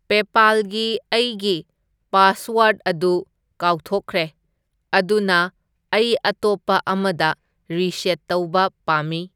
ꯄꯦꯄꯥꯜꯒꯤ ꯑꯩꯒꯤ ꯄꯥꯁꯋꯔ꯭ꯗ ꯑꯗꯨ ꯀꯥꯎꯊꯣꯛꯈ꯭ꯔꯦ, ꯑꯗꯨꯅ ꯑꯩ ꯑꯇꯣꯞꯄ ꯑꯃꯗ ꯔꯤꯁꯦꯠ ꯇꯧꯕ ꯄꯥꯝꯃꯤ꯫